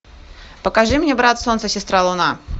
покажи мне брат солнце сестра луна